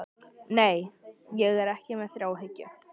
Nei, ég er ekki með þráhyggju.